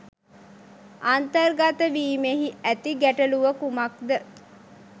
අන්තර්ගතවීමේහි ඇති ගැටළුව කුමක්ද